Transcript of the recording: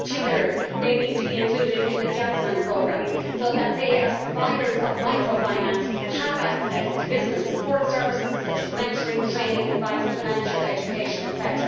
In particular, they need to be included in the JASMINE programme so that, as providers of microfinance, they have access to business support services such as mentoring, training, advice, financing and education, etc.